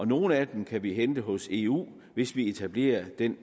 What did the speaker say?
nogle af dem kan vi hente hos eu hvis vi etablerer den